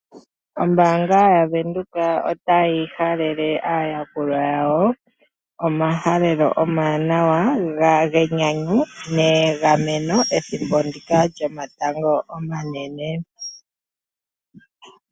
Ombaanga yaVenduka otayi halele aayakulwa yawo omahalelo omawanawa genyanyu negameno ethimbo ndika lyomatango omanene.